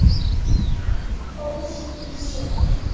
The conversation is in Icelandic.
óskýr sjón